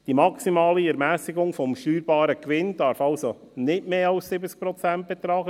Die maximale Ermässigung des steuerbaren Gewinns darf also nicht mehr als 70 Prozent betragen;